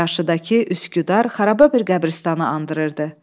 Qarşıdakı Üsküdar xarababir qəbiristanı andırırdı.